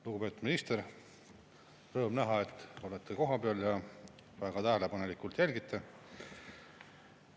Lugupeetud minister, rõõm näha, et olete kohapeal ja väga tähelepanelikult jälgite!